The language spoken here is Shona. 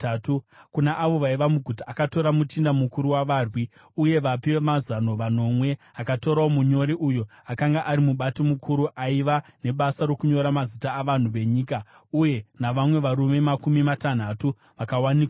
Kuna avo vaiva muguta akatora muchinda mukuru wavarwi, uye vapi vamazano vanomwe. Akatorawo munyori uyo akanga ari mubati mukuru aiva nebasa rokunyora mazita avanhu venyika uye navamwe varume makumi matanhatu vakawanikwa muguta.